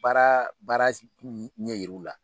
Baara baara ɲɛ yir'u la